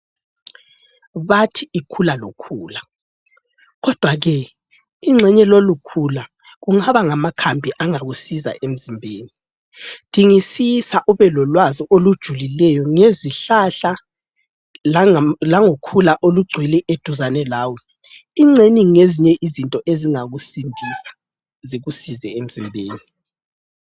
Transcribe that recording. Bathi ikhula lokhula kodwa ke ingxenye lolukhula kungaba ngamakhambi angakusiza emzimbeni, dingisisa ube lolwazi olujulileyo ngezihlahla langokhula olugcwele eduzane lawe engxenye ngezinye izinto ezingakusindisa zikusize emzimbeni.